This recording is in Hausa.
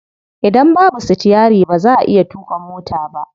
Idan babu sitiyari ba za'a iya tuƙa mota ba.